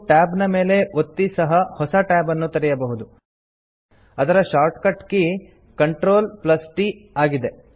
000140 000139 ಇದರ shortcut key CTRLT ಆಗಿದೆ